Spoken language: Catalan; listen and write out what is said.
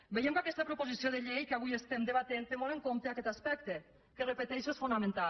veiem que aquesta proposició de llei que avui estem debatent té molt en compte aquest aspecte que ho repeteixo és fonamental